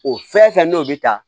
O fɛn fɛn n'o bi taa